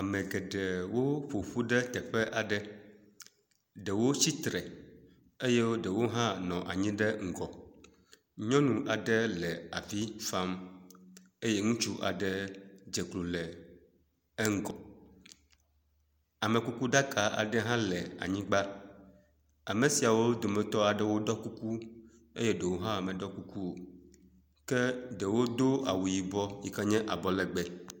Ame geɖewo ƒo ƒu ɖe teƒe aɖe. Ɖewo tsitre eye ɖewo hã nɔ anyi ɖe ŋgɔ. Nyɔnu aɖe le avi fam eye ŋutsu aɖe dze klo le eŋgɔ. Amekukuɖaka aɖe hã le anyigba. Ame siawo dometɔ aɖewo ɖɔ kuku eye ɖewo hã meɖɔ kuku o. Ke ɖewo do awu yibɔ yi ken ye abɔlegbe.